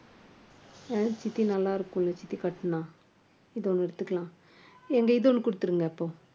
அஹ் சித்தி நல்லா இருக்கும்ல, சித்தி கட்டுனா இது ஒண்ணு எடுத்துக்கலாம் ஏங்க இது ஒண்ணு கொடுத்துருங்க இப்போ